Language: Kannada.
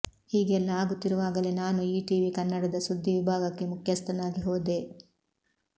ಹೀಗೆಲ್ಲಾ ಆಗುತ್ತಿರುವಾಗಲೇ ನಾನು ಈಟಿವಿ ಕನ್ನಡದ ಸುದ್ದಿ ವಿಭಾಗಕ್ಕೆ ಮುಖ್ಯಸ್ಥನಾಗಿ ಹೋದೆ